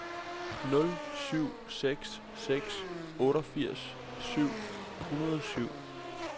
nul syv seks seks otteogfirs syv hundrede og syv